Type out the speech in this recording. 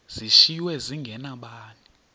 zishiywe zinge nabani